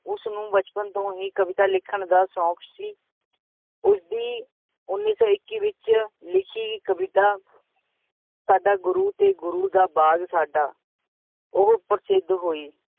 ਉਸਨੂੰ ਬਚਪਨ ਤੋਂ ਹੀ ਕਵਿਤਾ ਲਿਖਣ ਦਾ ਸ਼ੌਂਕ ਸੀ, ਉਸਦੀ ਉੱਨੀ ਸੌ ਇੱਕੀ ਵਿੱਚ ਲਿੱਖੀ ਕਵਿਤਾ ਸਾਡਾ ਗੁਰੂ ਤੇ ਗੁਰੂ ਦਾ ਬਾਗ਼ ਸਾਡਾ, ਉਹ ਪ੍ਰਸਿੱਧ ਹੋਈ।